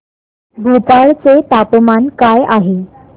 भोपाळ चे तापमान काय आहे